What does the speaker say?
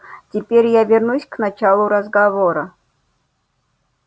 теперь я вернусь к началу разговора